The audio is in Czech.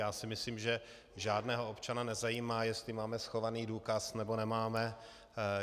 Já si myslím, že žádného občana nezajímá, jestli máme schovaný důkaz, nebo nemáme.